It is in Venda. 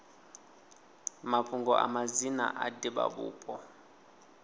mafhungo a madzina a divhavhupo